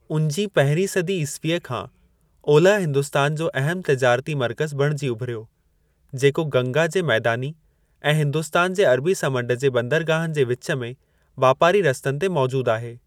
उजीं पहिरीं सदी ईसवीअ खां ओलह हिन्दुस्तान जो अहमु तिजारती मर्कज़ु बणिजी उभिरियो, जेको गंगा जे मैदानी ऐं हिन्दुस्तान जे अरबी समंड जे बंदरगाहनि जे विचु में वापारी रस्तनि ते मौजूद आहे।